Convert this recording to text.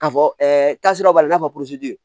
K'a fɔ taasira b'a la i n'a fɔ